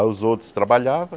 Aí os outros trabalhavam.